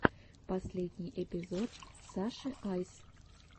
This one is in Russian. последний эпизод саши айс